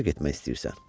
Hara getmək istəyirsən?